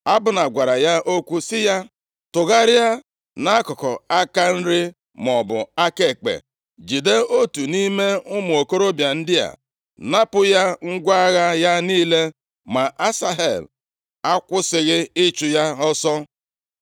Abna gwara ya okwu sị ya, “Tụgharịa nʼakụkụ aka nri maọbụ aka ekpe, jide otu nʼime ụmụ okorobịa ndị a. Napụ ya ngwa agha ya niile.” Ma Asahel akwụsịghị ịchụ ya ọsọ.